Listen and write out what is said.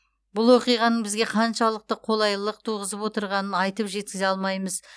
бұл оқиғаның бізге қаншалықты қолайлылық туғызып отырғанын айтып жеткізе алмаймыз